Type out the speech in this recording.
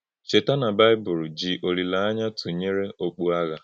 Chètà na Baịbụl jì òlílè-ányà tụnyere ọ̀kpù àghà.